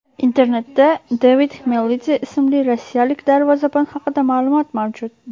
Internetda David Xmelidze ismli rossiyalik darvozabon haqida ma’lumot mavjud.